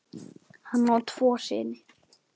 Hann á tvo syni.